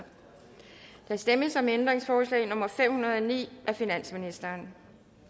der stemmes om ændringsforslag nummer fem hundrede og ni af finansministeren